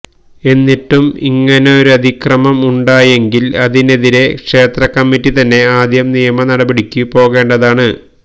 എന്നിട്ടും ഇങ്ങനൊരതിക്രമം ഉണ്ടായെങ്കിൽ അതിനെതിരേ ക്ഷേത്രകമ്മിറ്റി തന്നെ ആദ്യം നിയമ നടപടിക്കു പോകേണ്ടതാണ്